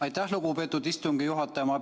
Aitäh, lugupeetud istungi juhataja!